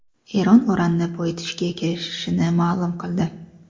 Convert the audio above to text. Eron uranni boyitishga kirishishini ma’lum qildi.